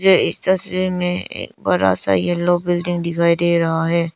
मुझे इस तस्वीर में एक बड़ा सा येलो बिल्डिंग दिखाई दे रहा है।